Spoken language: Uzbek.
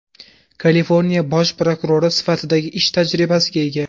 Kaliforniya bosh prokurori sifatidagi ish tajribasiga ega.